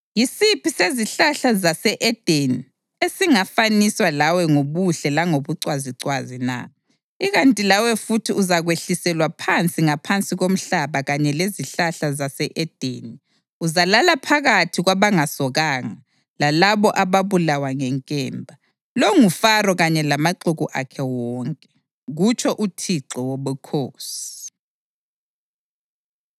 Yisiphi sezihlahla zase-Edeni esingafaniswa lawe ngobuhle langobucwazicwazi na? Ikanti lawe futhi uzakwehliselwa phansi ngaphansi komhlaba kanye lezihlahla zase-Edeni; uzalala phakathi kwabangasokanga, lalabo ababulawa ngenkemba. Lo nguFaro kanye lamaxuku akhe wonke, kutsho uThixo Wobukhosi.’ ”